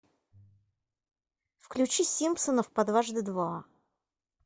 включи симпсонов по дважды два